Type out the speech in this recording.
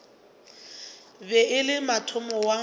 be e se motho wa